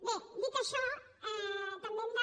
bé dit això també hem de